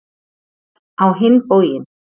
Á hinn bóginn.